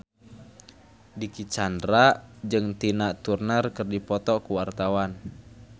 Dicky Chandra jeung Tina Turner keur dipoto ku wartawan